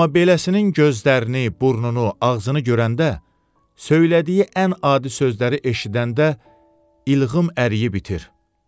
Amma beləsinin gözlərini, burnunu, ağzını görəndə söylədiyi ən adi sözləri eşidəndə ilğıım əriyib itir.